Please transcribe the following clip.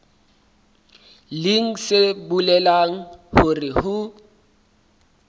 leng se bolelang hore ho